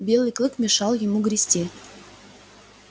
белый клык мешал ему грести